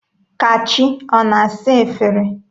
Kachi ọ na-asa efere?